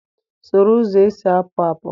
Soro ụzọ esi apụ apụ!